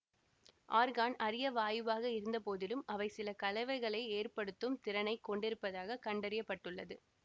argon அரிய வாயுவாக இருந்தபோதிலும் அவை சில கலவைகளை ஏற்படுத்தும் திறனை கொண்டிருப்பதாக கண்டறிய பட்டுள்ளது